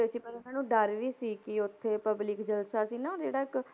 ਸੀ ਪਰ ਇਹਨਾਂ ਨੂੰ ਡਰ ਵੀ ਸੀ ਕਿ ਉੱਥੇ public ਜਲਸਾ ਸੀ ਨਾ ਉਹ ਜਿਹੜਾ ਇੱਕ